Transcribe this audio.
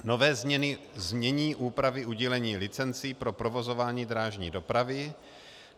nové znění úpravy udílení licencí pro provozování drážní dopravy;